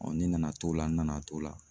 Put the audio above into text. ne nana t'o la n nana t'o la